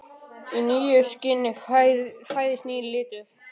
Í nýju skini fæðist nýr litur.